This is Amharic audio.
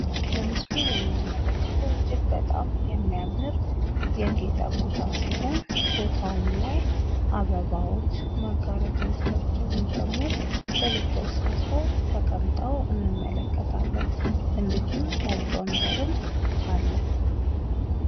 በምስሉ ላይ የምንመከተው እጂግ በጣም ያጌጠ ቦታ ሲሆን ቦታውም ላይ አበባዎች መጋረጃወቻቸው ደግሞ ትልፍልፍ ሰርተው እንመለከታቸዋለን። እንዲሁም ነጭ ወንበርም አለ።